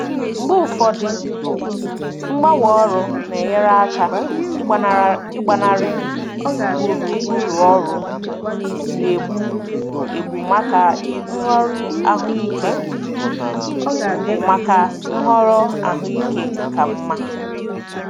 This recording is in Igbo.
Mgbe ụfọdụ mgbanwe ọrụ na-enyere aka ịgbanarị gburugburu ọrụ na-egbu egbu maka nhọrọ ahụike maka nhọrọ ahụike ka mma.